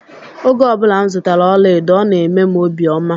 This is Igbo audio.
Oge obula m zụtara ọla edo ọ na emem obi ọma.